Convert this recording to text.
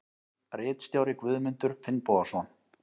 Ritstjóri Guðmundur Finnbogason.